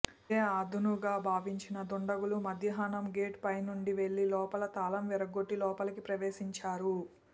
ఇదే అదునుగా భావించిన దండగులు మధ్యాహ్నం గేట్ పైనుంచి వెళ్లి లోపల తాళం విరగొట్టి లోపలికి ప్రవేశించారు